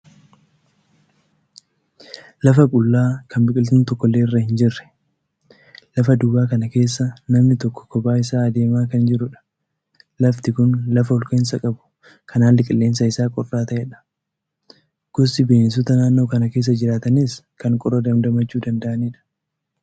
Lafa qullaa kan biqiltuun tokkollee irra hin jirre. Lafa duwwaa kana keessa namni tokko kophaa isaa adeemaa kan jirudha. Lafti kun lafa olka'insa qabu kan haalli qilleensa isaa qorraa ta'edha. Gosti bineensota naannoo kana keessa jiraataniis kan qorra dandamachuu danda'anidha.